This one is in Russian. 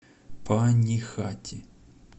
панихати